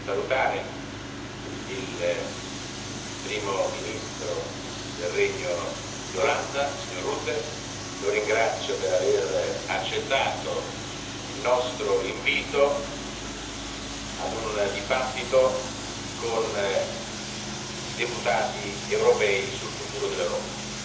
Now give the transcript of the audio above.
Ho il piacere di salutare il Primo ministro del Regno di Olanda, il signor Rutte. Lo ringrazio per aver accettato il nostro invito ad un dibattito con i deputati europei sul futuro dell'Europa.